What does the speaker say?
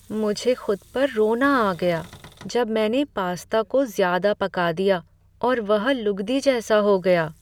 मुझे खुद पर रोना आ गया जब मैंने पास्ता को ज़्यादा पका दिया और वह लुगदी जैसा हो गया।